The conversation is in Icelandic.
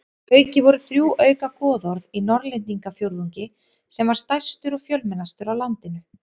Að auki voru þrjú auka goðorð í Norðlendingafjórðungi sem var stærstur og fjölmennastur á landinu.